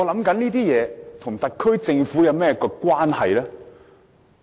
這些事情和特區政府有何關係呢？